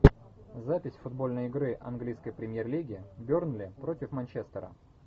запись футбольной игры английской премьер лиги бернли против манчестера